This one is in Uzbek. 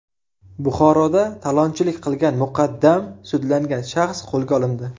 Buxoroda talonchilik qilgan muqaddam sudlangan shaxs qo‘lga olindi.